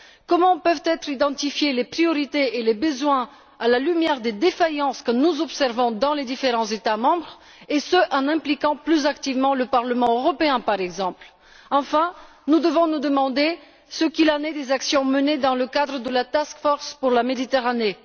Comment déterminer les priorités et les besoins à la lumière des défaillances que nous observons dans les différents États membres et ce, en impliquant plus activement le Parlement européen, par exemple? Enfin, nous devons nous demander ce qu'il en est des actions menées dans le cadre de la task force pour la Méditerranée.